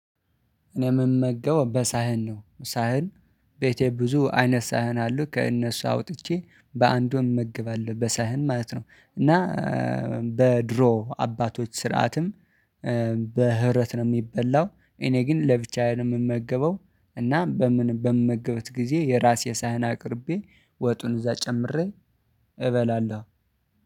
እኔ ምመገበው በሳህን ነው ሳህን ቤቴ ብዙ አይነት ሳህን አሉ ከእነሱ አውጥቼ በአንዱ እመገባለው በሳህን ማለት ነው። እና በድሮ አባቶች ስርዓትም በ ህረት ነው የሚበላው። እኔ ግን ለብቻዬን የምመገበው እና በምን በምመገበው ጊዜ የራሴ ሳህን አቅርቤ ወጡን እዛ ጨምሬ እበላለሁ